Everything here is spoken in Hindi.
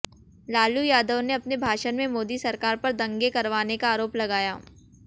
लालू यादव ने अपने भाषण में मोदी सरकार पर दंगे करवाने का आरोप लगाया